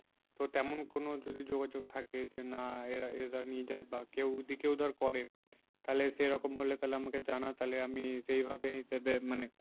তো তেমন কোনো যদি যোগাযোগ থাকে যে না এরা নিয়ে যায় বা কেউ ওদিকেও ধর করে। তাহলে সেরকম হলে তাহলে আমাকে জানা তাহলে আমি সেই ভাবে হিসাবে মানে